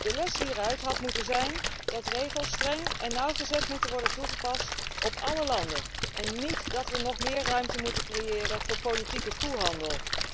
De les hieruit had moeten zijn dat regels streng en nauwgezet moeten worden toegepast op alle landen en niet dat we nog meer ruimte moeten creëren voor politieke koehandel.